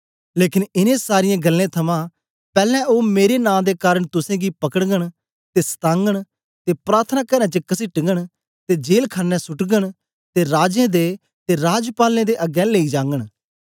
लेकन इनें सारीयें गल्लें थमां पैलैं ओ मेरे नां दे कारन तुसेंगी पकड़गन ते सतागन ते प्रार्थनाकारें च कसीटगन ते जेल खाणे सुट्टगन ते राजें दे ते राजपालें दे अगें लेई जागन